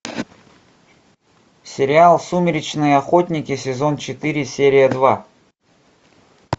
сериал сумеречные охотники сезон четыре серия два